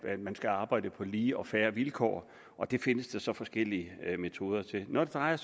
at man skal arbejde på lige og fair vilkår og der findes så forskellige metoder når det drejer